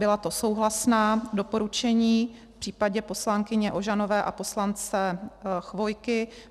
Byla to souhlasná doporučení v případě poslankyně Ožanové a poslance Chvojky.